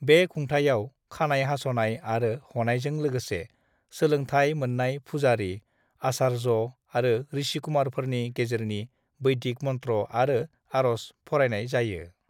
"बे खुंथायाव, खानाय हास'नाय आरो ह'नायजों लोगोसे, सोलोंथाय मोननाय फुजारि, आचार्य आरो ऋषिकुमारफोरनि गेजेरजों वैदिक मनत्र' आरो आरज फरायनाय जायो।"